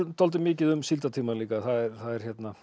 dálítið mikið um síldartímann líka það er